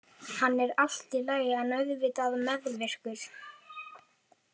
Hann er allt í lagi en auðvitað meðvirkur.